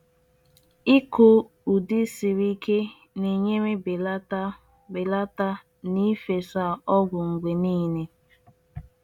Ịkụ mkpụrụakụkụ ndị na-eguzogide ọrịa na -ebelata mkpa nke ịgba ọgwụ site na mgbe ruo na mgbe.